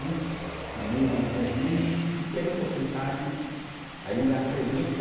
Mas, mas mesmo assim, algum pequeno porcentagem ainda acredita.